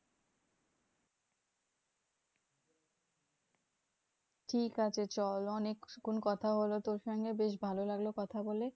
ঠিকাছে চল অনেকক্ষণ কথা হলো তোর সঙ্গে বেশ ভালো লাগলো কথা বলে।